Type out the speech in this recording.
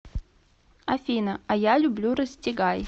афина а я люблю расстегай